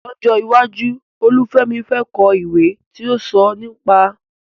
Lọ́jọ́ iwájú, Olúfemi fẹ́ kọ ìwé tí ó ń sọ ìrírí ìgbésí ayé rẹ̀.